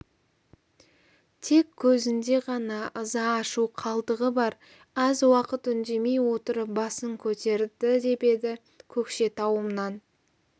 тек көзінде ғана ыза ашу қалдығы бар аз уақыт үндемей отырып басын көтерді деп еді көкшетауымнан